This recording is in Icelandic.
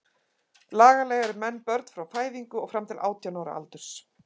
Lagalega eru menn börn frá fæðingu og fram til átján ára aldurs.